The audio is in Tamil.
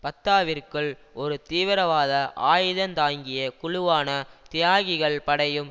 பத்தாவிற்குள் ஒரு தீவிரவாத ஆயுதந்தாங்கிய குழுவான தியாகிகள் படையும்